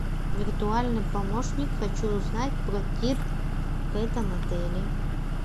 виртуальный помощник хочу узнать про тир в этом отеле